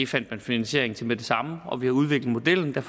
fandt vi finansiering til med det samme og vi har udviklet modellen og